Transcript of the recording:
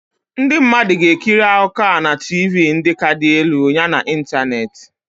Ndị mmadụ ga-ekiri akụkọ a na TiVii ndị ka dị elu yana ịntanetị.